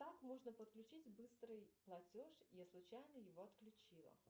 как можно подключить быстрый платеж я случайно его отключила